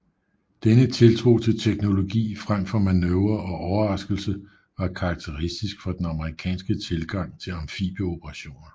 Denne tiltro til teknologi frem for manøvre og overraskelse var karakteristisk for den amerikanske tilgang til amfibieoperationer